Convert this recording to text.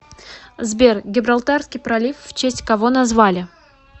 сбер гибралтарский пролив в честь кого назвали